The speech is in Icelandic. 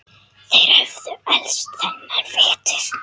Þeir höfðu elst þennan vetur.